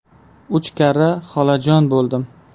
Uch karra xolajon bo‘ldim!